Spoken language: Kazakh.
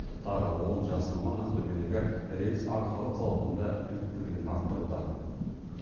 тағы он жас маман ақтөбедегі рельс арқалық зауытында біліктілігін арттыруда